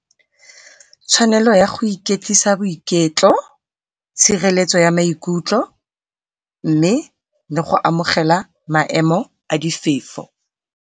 Tshwanelo ya go iketlisa boiketlo, tshireletso ya maikutlo, mme le go amogela maemo a di .